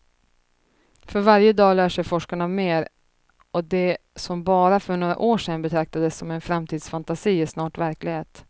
För varje dag lär sig forskarna mer, och det som för bara några år sen betraktades som en framtidsfantasi är snart verklighet.